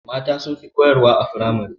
Mata sunfi koyar wa a firamare